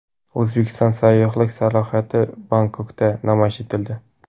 O‘zbekiston sayyohlik salohiyati Bangkokda namoyish etildi.